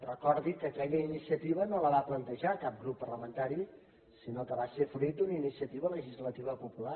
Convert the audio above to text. recordi que aquella iniciativa no la va plantejar cap grup parlamentari sinó que va ser fruit d’una iniciativa legislativa popular